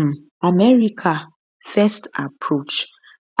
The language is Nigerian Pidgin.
im america first approach